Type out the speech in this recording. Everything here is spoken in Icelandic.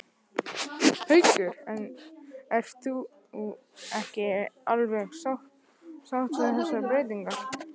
Haukur: En þú ert ekki alveg sátt við þessar breytingar?